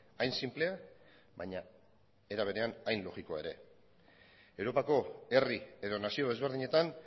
hain sinplea baina era berean hain logikoa ere europako herri edo nazio ezberdinetan